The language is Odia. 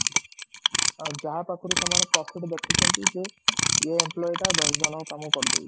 ଯାହା ପାଖରୁ ସେମାନେ profit ଦେଖୁଛନ୍ତି ଯ ଏଇ employee ଟା ଦଶ ଜଣଙ୍କ କାମ କରିଦଉଚି